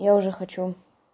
я уже хочу